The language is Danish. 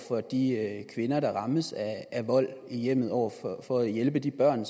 for de kvinder der rammes af vold i hjemmet og for at hjælpe de børn